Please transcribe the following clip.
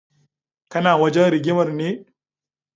Kana wajen rigimar ne?